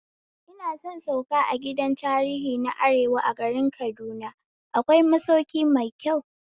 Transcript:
Ina son sauka a gidan tarihi na arewa a garin Kaduna, akwai masauki mai kyau